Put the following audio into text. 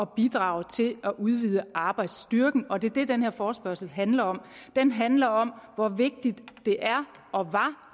bidrage til at udvide arbejdsstyrken og det er det den her forespørgsel handler om den handler om hvor vigtigt det er og